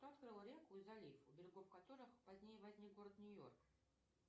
кто открыл реку и залив у берегов которых позднее возник город нью йорк